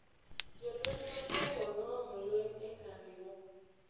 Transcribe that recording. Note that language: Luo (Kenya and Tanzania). jolweny ma congo noomo lweny e kambiwa.